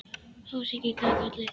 Ási kinkaði kolli.